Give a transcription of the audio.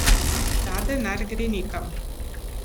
Ta denar gre nekam.